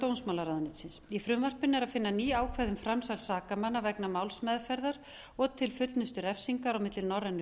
dómsmálaráðuneytisins í frumvarpinu er að finna ný ákvæði um framsal sakamanna vegna málsmeðferðar og til fullnustu refsingar á milli norrænu